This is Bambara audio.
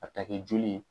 A bɛ ta kɛ joli ye